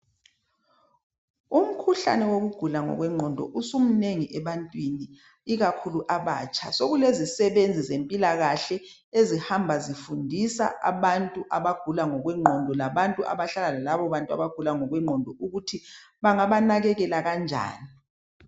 Umkhuhlane wokugula ngokwengqondo usumnengi ebantwini ikakhulu abatsha. Sekulezisebenzi ezempilakahle ezihamba zifundisa abantu abagula ngokwengqondo labantu abahlala balagula ngokwengqondo ukuthi bangabanakekela kanjani.